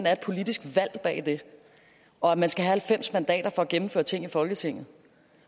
er et politisk valg bag det og at man skal have halvfems mandater for at gennemføre ting i folketinget